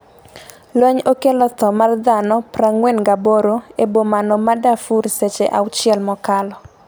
lweny okelo tho mar dhano 48 e bomano ma Darfur seche auchiel mokalo